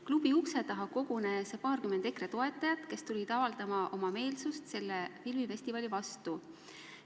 Klubi ukse taha kogunes paarkümmend EKRE toetajat, kes tulid avaldama oma meelsust selle filmifestivali vastu.